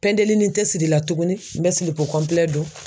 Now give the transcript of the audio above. Pɛndelinin tɛ sirila tuguni n bɛ don.